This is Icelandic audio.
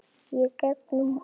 Og gengum út.